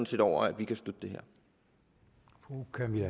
set over at vi kan støtte det